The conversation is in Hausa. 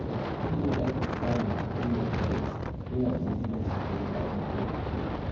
Ilimin da ake samu ta hanyar kwarewa yana da muhimmanci fiye da na aji kawai.